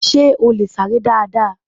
Sé o lè sáré dáadáa?